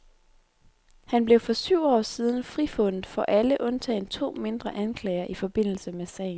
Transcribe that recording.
Han blev for syv år siden frifundet for alle undtagen to mindre anklager i forbindelse med sagen.